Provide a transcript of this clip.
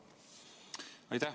Aitäh!